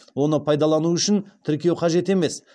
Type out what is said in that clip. оны пайдалану үшін тіркеу қажет емес